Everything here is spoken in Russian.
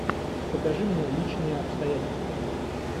покажи мне личные обстоятельства